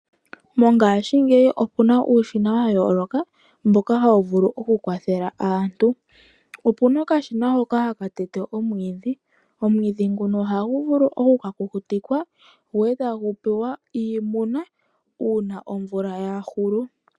Mongashi ngeyi opuna uushina wayoloka mboka hawuvulu oku kwathela aantu, opuna okashina hoka hakatete omwidhi , omwidhi nguno oha nguvuvu oku kakukutikwa go etangupewa iimuna una omvula yahulu.